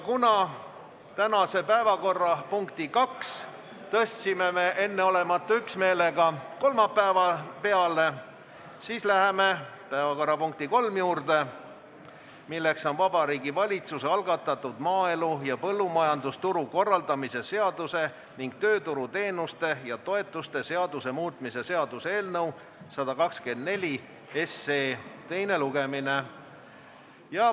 Kuna me tänase päevakorrapunkti nr 2 tõstsime enneolematu üksmeelega kolmapäeva peale, siis läheme päevakorrapunkti nr 3 juurde, milleks on Vabariigi Valitsuse algatatud maaelu ja põllumajandusturu korraldamise seaduse ning tööturuteenuste ja -toetuste seaduse muutmise seaduse eelnõu 124 teine lugemine.